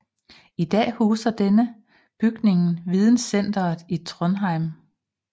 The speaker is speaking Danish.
I dag huser denne bygningen Videncenteret i Trondheim